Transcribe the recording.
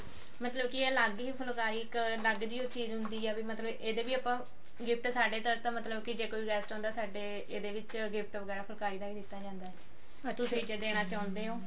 ਮਤਲਬ ਕੀ ਅਲੱਗ ਹੀ ਫੁਲਕਾਰੀ ਇੱਕ ਅਲੱਗ ਜੀ ਹੀ ਚੀਜ਼ ਹੁੰਦੀ ਆ ਵੀ ਮਤਲਬ ਇਹਦੇ ਵੀ ਆਪਾਂ gift ਸਾਡੇ ਤਰਫ਼ ਤਾਂ ਮਤਲਬ ਕੀ ਜੇ ਕੋਈ guest ਆਉਂਦਾ ਸਾਡੇ ਇਹਦੇ ਵਿੱਚ gift ਵਗੇਰਾ ਦਿੱਤਾ ਜਾਂਦਾ ਹੈ ਕੀ ਦੇਣਾ ਚਾਹੁੰਦੇ ਹੋ